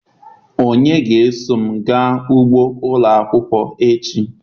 Onye ga-eso m gaa ugbo ụlọ akwụkwọ echi?